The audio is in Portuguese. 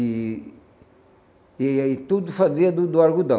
E e e tudo fazia do do algodão.